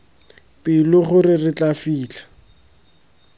pelo gore re tla fitlha